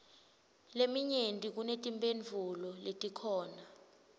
leminyenti kunetimphendvulo letikhona